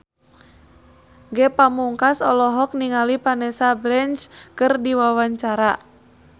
Ge Pamungkas olohok ningali Vanessa Branch keur diwawancara